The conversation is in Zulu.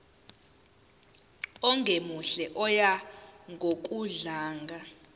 ongemuhle oya ngokudlanga